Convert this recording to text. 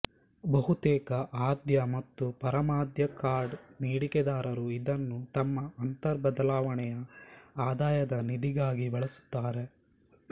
ಬಹುತೇಕ ಆದ್ಯ ಮತ್ತು ಪರಮಾದ್ಯ ಕಾರ್ಡ್ ನೀಡಿಕೆದಾರರು ಇದನ್ನು ತಮ್ಮ ಅಂತರ್ ಬದಲಾವಣೆಯ ಆದಾಯದ ನಿಧಿಗಾಗಿ ಬಳಸುತ್ತಾರೆ